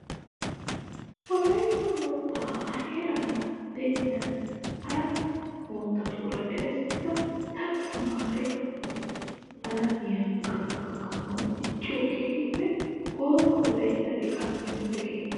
Wolayitta moottaa A heeran diyaa hara moottatuura eretissida daro tamaare alamiya gaxaa gakkanawu dicciyoo keehippe gooba wolayitta liqaa timirtte keettaa.